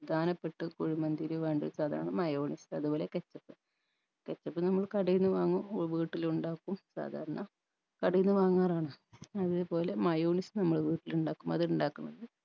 പ്രധാനപ്പെട്ട കുഴിമന്തില് വേണ്ട സാധനമാണ് mayonnaise അത്പോലെ ketchup നമ്മള് കടയിന്ന് വാങ്ങും വീട്ടിലും ഉണ്ടാക്കും സാധാരണ കടയിന്ന് വാങ്ങാറാണ് അതേപോലെ mayonnaise നമ്മൾ വീട്ടിൽ ഇണ്ടാക്കും അത് ഇണ്ടാക്കുന്നത്